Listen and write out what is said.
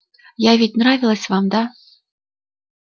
я ведь нравилась вам да